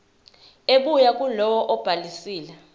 ebuya kulowo obhalisile